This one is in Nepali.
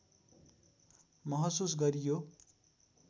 महसुस गरियो